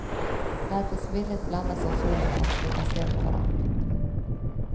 Lät oss villigt bländas av solen för att slippa se på varandra.